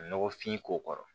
Nɔgɔfin k'o kɔrɔ